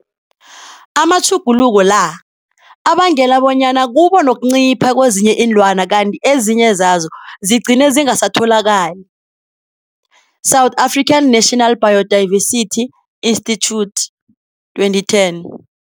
Amatjhuguluko la, abangela bonyana kubo nokuncipha kwezinye ilwani kanti ezinye zazo zigcine zingasatholakali, South African National Biodiversity Institute, 2010.